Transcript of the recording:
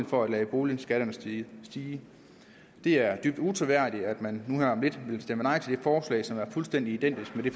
for at lade boligskatterne stige stige det er dybt utroværdigt at man nu her om lidt vil stemme nej til det forslag som er fuldstændig identisk med det